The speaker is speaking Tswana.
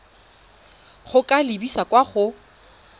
go ka lebisa kwa go